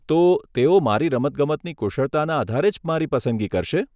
તો, તેઓ મારી રમતગમતની કુશળતાના આધારે જ મારી પસંદગી કરશે?